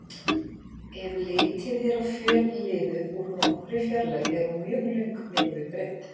Ef litið er á fjölliðu úr nokkurri fjarlægð er hún mjög löng miðað við breidd.